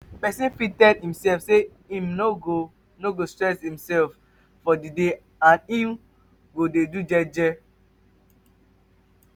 persin fit tell imself say im no go no go stress for di day and i'm go de do gege